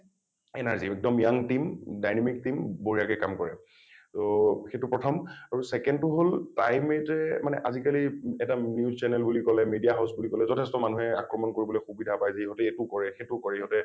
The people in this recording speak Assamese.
energy, একদম young team , dynamic team বঢ়িয়াকে কাম কৰে । টো সেইটো প্ৰথম আৰু second টো হল time eight য়ে মানে আজিকালি আজিকালি মানে এটা news channel বুলি কলে media house বুলি কলে যথেষ্ট মানুহে আক্ৰমণ কৰিবলৈ সুবিধা পায় যে ইহঁতে এইটো কৰে সেইটো কৰে ইহঁতে